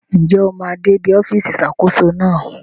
Njẹ óò máa dè ìbí ọfisi Ìṣàkóso náà